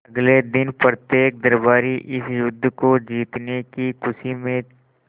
अगले दिन प्रत्येक दरबारी इस युद्ध को जीतने की खुशी में